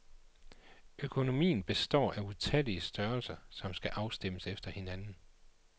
Økonomien består af utallige størrelser, som skal afstemmes efter hinanden.